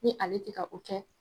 Ni ale ti ka o kɛ